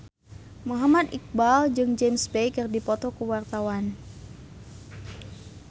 Muhammad Iqbal jeung James Bay keur dipoto ku wartawan